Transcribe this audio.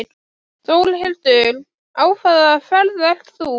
Þórhildur: Á hvaða ferð ert þú?